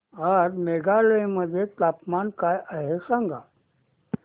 आज मेघालय मध्ये तापमान काय आहे सांगा